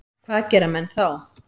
Hvað gera menn þá?